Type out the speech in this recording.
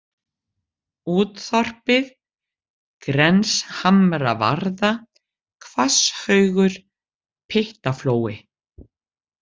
Út-Þorpið, Grenshamravarða, Hvasshaugur, Pyttaflói